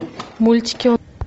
мультики